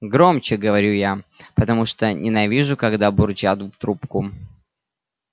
громче говорю я потому что ненавижу когда бурчат в трубку